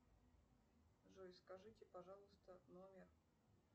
джой скажите пожалуйста номер